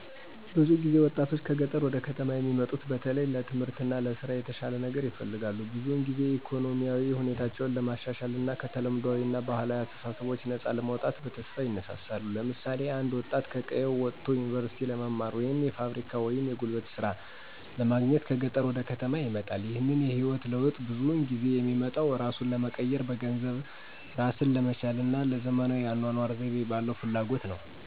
ብዙ ወጣቶች ከገጠር ወደ ከተማ የሚሙጡት በተለይ ለትምህርት እና ለስራ የተሻለ ነገር ይፈልጋሉ። ብዙውን ጊዜ ኢኮኖሚያዊ ሁኔታቸውን ለማሻሻል እና ከተለምዷዊ እና ባህላዊ አስተሳሰቦች ነፃ ለመውጣት በተስፋ ይነሳሳሉ። ለምሳሌ አንድ ወጣት ከቀየው ወጥቶ ዩኒቨርሲቲ ለመማር ወይም የፋብሪካ ወይም የጉልበት ሥራ ለማግኘት ከገጠር ወደ ከተማ ይመጣል። ይህንን የህይወት ለውጥ ብዙውን ጊዜ የሚመጣው እራሱን ለመቀየር፣ በገንዘብ እራስን ለመቻል እና ለዘመናዊ የአኗኗር ዘይቤ ባለው ፍላጎት ነው።